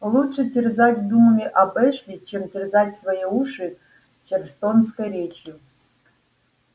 лучше терзать думами об эшли чем терзать свои уши чарльстонской речью